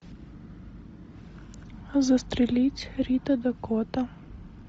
застрелить рита дакота